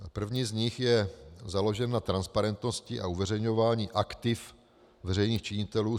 První z nich je založen na transparentnosti a uveřejňování aktiv veřejných činitelů.